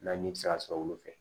Na ni bi se ka sɔrɔ olu fɛ